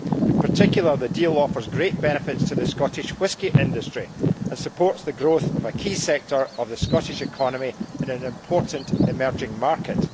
In particular, the deal offers great benefits to the Scottish whisky industry and supports the growth of a key sector of the Scottish economy in an important emerging market.